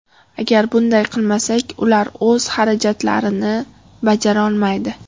Agar bunday qilmasak, ular o‘z xarajatlarini bajarolmaydi.